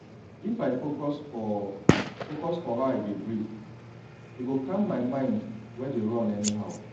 if i focus for focus for how i dey breathe e go calm my mind wey dey run anyhow